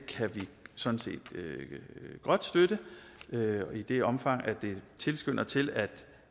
sådan set godt støtte i det omfang det tilskynder til at